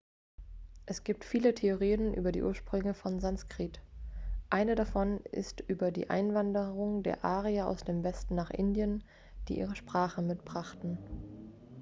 es gibt viele theorien über die ursprünge von sanskrit eine davon ist über die einwanderung der arier aus dem westen nach indien die ihre sprache mitbrachten